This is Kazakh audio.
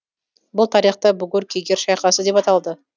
бұл тарихта бугур кегер шайқасы деп аталды